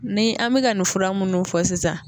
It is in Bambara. Ni an mi ka ka nin fura munnu fɔ sisan